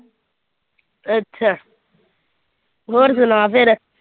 ਅੱਛਾ ਹੋਰ ਸੁਣਾ ਫਿਰ।